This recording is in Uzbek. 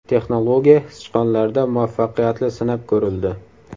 Texnologiya sichqonlarda muvaffaqiyatli sinab ko‘rildi.